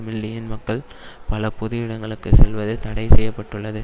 million மக்கள் பல பொது இடங்களுக்கு செல்வது தடை செய்ய பட்டுள்ளது